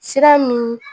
Sira min